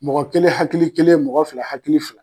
Mɔgɔ kelen hakili kelen mɔgɔ fila hakili fila.